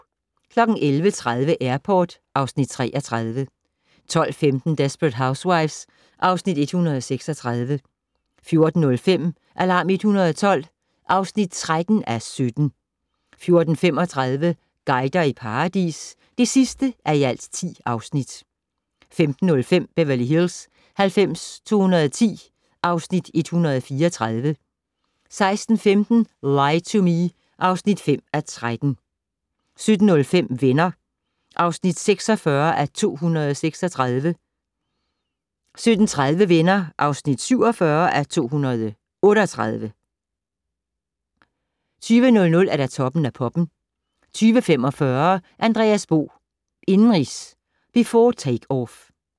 11:30: Airport (Afs. 33) 12:15: Desperate Housewives (Afs. 136) 14:05: Alarm 112 (13:17) 14:35: Guider i paradis (10:10) 15:05: Beverly Hills 90210 (Afs. 134) 16:15: Lie to Me (5:13) 17:05: Venner (46:236) 17:30: Venner (47:238) 20:00: Toppen af poppen 20:45: Andreas Bo - indenrigs, before takeoff